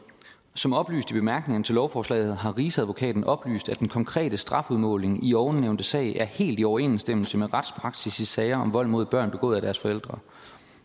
som oplyst i bemærkningerne til lovforslaget har rigsadvokaten oplyst at den konkrete strafudmåling i ovennævnte sag er helt i overensstemmelse med retspraksis i sager om vold mod børn begået af deres forældre